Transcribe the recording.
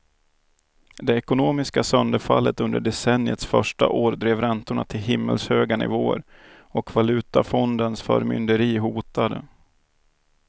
Det ekonomiska sönderfallet under decenniets första år drev räntorna till himmelshöga nivåer och valutafondens förmynderi hotade.